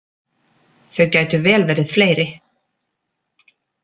Þau gætu vel verið fleiri.